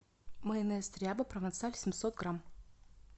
майонез ряба провансаль семьсот грамм